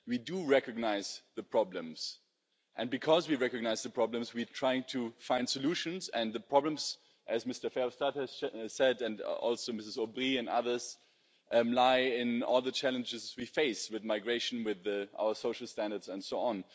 We do recognise the problems and because we recognise the problems, we're trying to find solutions, and the problems as Mr Verhofstadt has said and also Ms O'Brien and others, lie in all the challenges we face with migration, with our social standards, and so on.